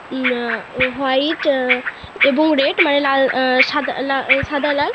উম um white um এবং red মানে সাদা লাল